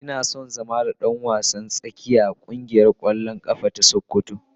Ina son zama dan wasan tsakiya a kungiyar kwallon kafa ta sokoto.